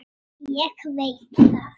Ólöf, Ásgeir og börn.